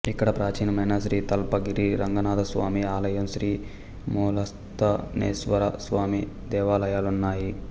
ఇక్కడ ప్రాచీనమైన శ్రీ తల్పగిరి రంగనాధస్వామి ఆలయం శ్రీ మూలస్థానేశ్వర స్వామి దేవాలయాలున్నాయి